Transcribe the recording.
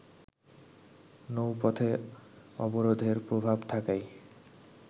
নৌপথে অবরোধের প্রভাব থাকায়